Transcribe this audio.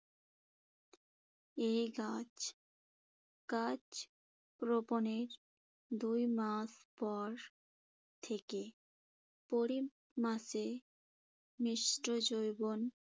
এ গাছ গাছ রোপণের দুই মাস পর ‘থেকে প্রতি মাসে